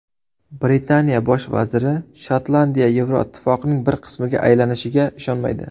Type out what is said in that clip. Britaniya bosh vaziri Shotlandiya Yevroittifoqning bir qismiga aylanishiga ishonmaydi.